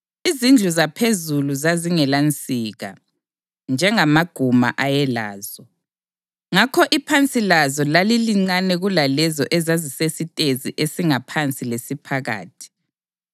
Izindlu zaphezulu zazingelansika, njengamaguma ayelazo, ngakho iphansi lazo lalilincane kulalezo ezazisesitezi esingaphansi lesiphakathi.